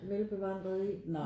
Velbevandret deri